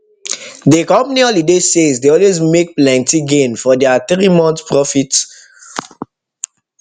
dey company holiday sales dey always make plenty gain for their three months profit three months profit